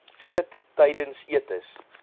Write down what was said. sit tydens etes